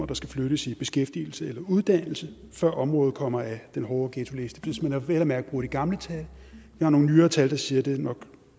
der skal flyttes i beskæftigelse eller uddannelse før området kommer af den hårde ghettoliste hvis man vel at mærke bruger de gamle tal der er nogle nyere tal der siger at det nok